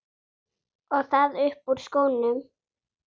Og það upp úr skónum!